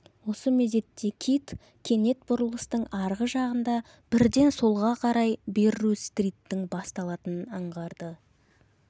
осы мезетте кит кенет бұрылыстың арғы жағында бірден солға қарай берру-стриттің басталатынын аңғарды